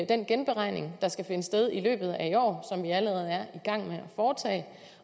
den genberegning der skal finde sted i løbet af i år år